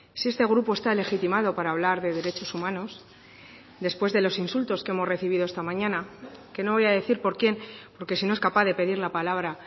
si este grupo está legitimado para hablar de derechos humanos después de los insultos que hemos recibido esta mañana que no voy a decir por quién porque si no es capaz de pedir la palabra